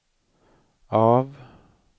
av